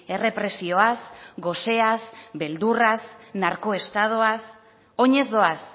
errepresioaz goseaz beldurraz narkoestadoaz oinez doaz